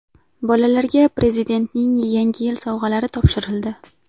Bolalarga Prezidentning Yangi yil sovg‘alari topshirildi.